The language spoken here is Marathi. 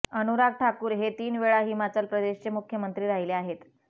अनुराग ठाकूर हे तीन वेळा हिमाचल प्रदेशचे मुख्यमंत्री राहिले आहेत